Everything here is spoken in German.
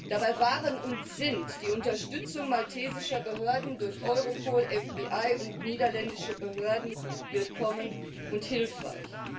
Dabei waren und sind die Unterstützung maltesischer Behörden durch Europol, FBI und niederländische Behörden willkommen und hilfreich.